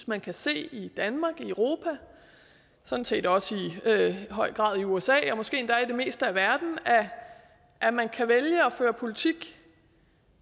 man kan se i danmark i europa og sådan set også i høj grad i usa ja måske endda i det meste af verden at man kan vælge at føre politik